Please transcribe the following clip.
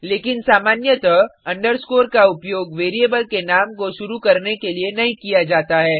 लेकिन सामान्यतः अंडरस्कोर का उपयोग वेरिएबल के नाम को शुरु करने के लिए नहीं किया जाता है